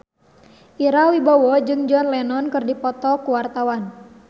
Ira Wibowo jeung John Lennon keur dipoto ku wartawan